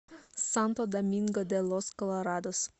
санто доминго де лос колорадос